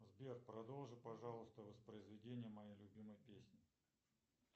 сбер продолжи пожалуйста воспроизведение моей любимой песни